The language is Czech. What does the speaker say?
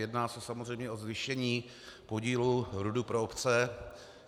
Jedná se samozřejmě o zvýšení podílu RUD pro obce.